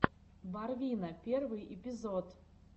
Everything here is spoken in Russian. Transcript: барвина первый эпизод